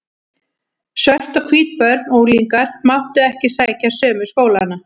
Svört og hvít börn og unglingar máttu ekki sækja sömu skólana.